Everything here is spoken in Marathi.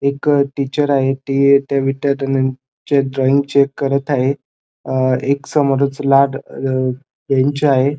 एक टीचर आहे ती त्या विद्यार्थिनींचे ड्रॉइंग चेक करत आहेत अ एक समोरच लाल बेंच आहे.